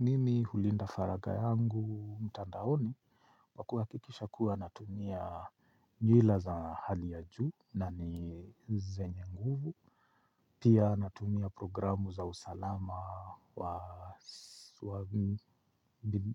Mimi Hulinda Faraga yangu, mtandaoni, kwa kuakikisha kuwa natumia nywila za hali ya juu na ni zenye nguvu, pia natumia programu za usalama